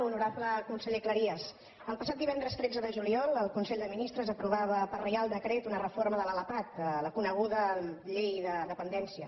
honorable conseller cleries el passat divendres tretze de juliol el consell de ministres aprovava per reial decret una reforma de l’lpap la coneguda llei de dependència